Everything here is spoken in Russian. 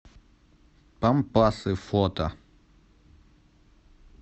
пампасы фото